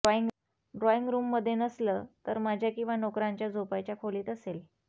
ड्रॉइंगरूममध्ये नसलं तर माझ्या किंवा नोकरांच्या झोपायच्या खोलीत असेल